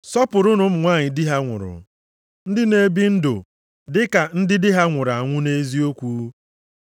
Sọpụrụnụ ụmụ nwanyị di ha nwụrụ, ndị na-ebi ndụ dị ka ndị di ha nwụrụ anwụ nʼeziokwu.